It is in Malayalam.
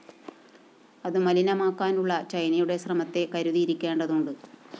അതു മലിനമാക്കാനുള്ള ചൈനയുടെ ശ്രമത്തെ കരുതിയിരിക്കേണ്ടതുണ്ട്